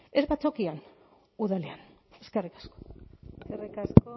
ez batzokian udalean eskerrik asko eskerrik asko